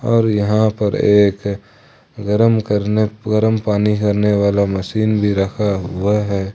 और यहां पर एक गर्म करने गर्म पानी करने वाला मशीन भी रखा हुआ है।